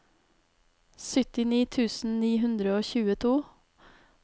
syttini tusen ni hundre og tjueto